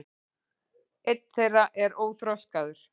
einn þeirra er óþroskaður